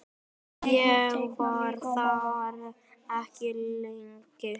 Ég var þar ekki lengi.